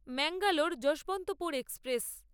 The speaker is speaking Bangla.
ম্যাঙ্গালোর যশবন্তপুর এক্সপ্রেস